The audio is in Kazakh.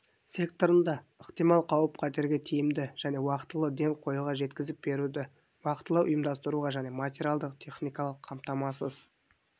секторында ықтимал қауіп-қатерлерге тиімді және уақтылы ден қоюға жеткізіп беруді уақтылы ұйымдастыруға және материалдық-техникалық қамтамасыз